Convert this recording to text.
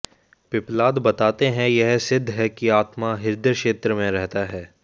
पिप्पलाद बताते हैं यह सिद्ध है कि आत्मा हृदय क्षेत्र में रहता है